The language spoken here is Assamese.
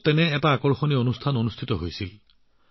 তেনে এক বৃহৎ অনুষ্ঠানৰ আয়োজন কৰা হৈছিল ছুৰাটত